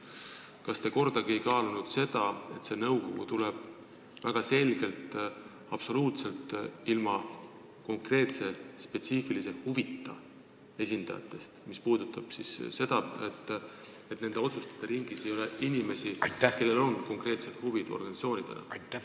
Kas te kordagi ei kaalunud, et see nõukogu tuleb väga selgelt moodustada absoluutselt ilma konkreetse spetsiifilise huvita esindajatest, mis puudutab seda, et otsustajate ringis ei tohiks olla inimesi, kellel on konkreetsed huvid mingites organisatsioonides?